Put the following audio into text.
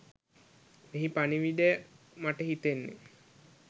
මෙහි පණිවිඩය මට හිතෙන්නේ